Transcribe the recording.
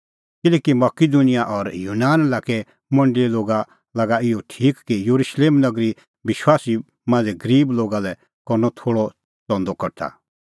किल्हैकि मकिदुनिया और यूनान लाक्के मंडल़ीए लोगा लागअ इहअ ठीक कि येरुशलेम नगरी विश्वासी मांझ़ै गरीब लोगा लै करनअ थोल़अ च़ंदअ कठा